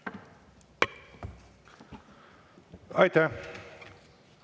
Aitäh!